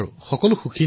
সকলোৱে সন্তুষ্ট হৈছিল